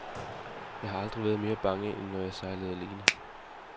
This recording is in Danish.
Jeg har aldrig været mere bange, end når jeg sejlede alene.